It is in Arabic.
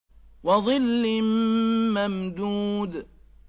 وَظِلٍّ مَّمْدُودٍ